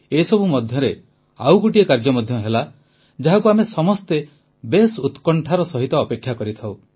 ଏସବୁ ମଧ୍ୟରେ ଆଉ ଗୋଟିଏ କାର୍ଯ୍ୟ ମଧ୍ୟ ହେଲା ଯାହାକୁ ଆମେ ସମସ୍ତେ ବେଶ୍ ଉତ୍କଣ୍ଠାର ସହିତ ଅପେକ୍ଷା କରିଥାଉ